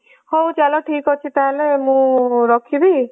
ହୋଉ ଚାଲ ଠିକ ଅଛି ତାହେଲେ ମୁଁ ରଖିବି